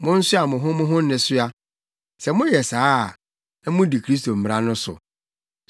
Monsoa mo ho mo ho nnesoa. Sɛ moyɛ saa a, na mudi Kristo mmara no so.